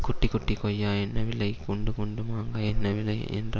குட்டி குட்டி கொய்யா என்ன விலை குண்டு குண்டு மாங்கா என்ன விலை என்ற